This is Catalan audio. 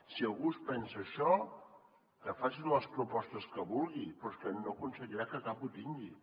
si algú es pensa això que faci les propostes que vulgui però és que no aconseguirà que cap ho tingui